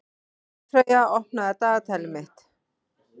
Kolfreyja, opnaðu dagatalið mitt.